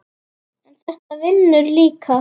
en þetta vinnur líka.